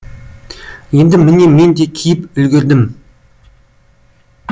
енді міне мен де киіп үлгердім